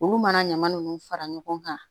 Olu mana ɲama nunnu fara ɲɔgɔn kan